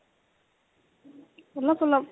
অলপ অলপ